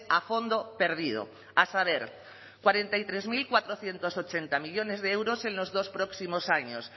a fondo perdido a saber cuarenta y tres mil cuatrocientos ochenta millónes de euros en los dos próximos años